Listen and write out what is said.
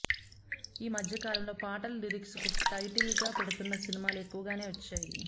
ఈ మధ్యకాలంలో పాటల లిరిక్స్ను టైటిల్గా పెడుతున్న సినిమాలు ఎక్కువగానే వచ్చాయి